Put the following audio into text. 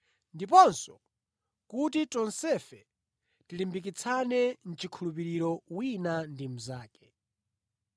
ndiponso kuti tonsefe tilimbikitsane mʼchikhulupiriro wina ndi mnzake.